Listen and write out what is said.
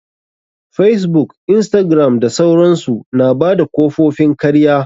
Facebook, instagram da sauransu. Na bada kofofin karya.